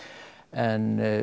en